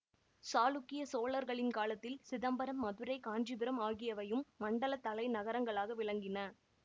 சாளுக்கிய சோழர்களின் காலத்தில் சிதம்பரம் மதுரை காஞ்சிபுரம் ஆகியவையும் மண்டலத் தலை நகரங்களாக விளங்கின